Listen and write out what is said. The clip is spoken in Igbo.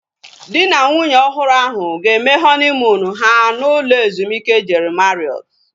Dị na nwunye ọhụrụ ahu ga-eme họniimuunu ha n'ụlọ ezumike Jeri Mariọt